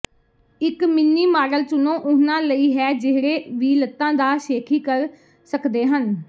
ਇੱਕ mini model ਚੁਣੋ ਉਹਨਾਂ ਲਈ ਹੈ ਜਿਹੜੇ ਵੀ ਲੱਤਾਂ ਦਾ ਸ਼ੇਖੀ ਕਰ ਸਕਦੇ ਹਨ